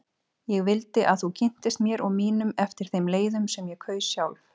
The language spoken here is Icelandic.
Ég vildi að þú kynntist mér og mínum eftir þeim leiðum sem ég kaus sjálf.